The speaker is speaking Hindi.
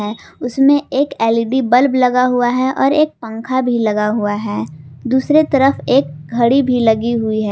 उसमें एक एलइड बल्ब लगे हुवे है और एक पंखा भी लगा युवा है दूसरे तरफ एक घड़ी भी लगी हुई है।